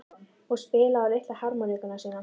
Og spila á litlu harmónikkuna sína?